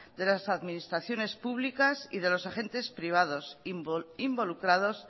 de las administraciones públicas y de los agentes privados involucrados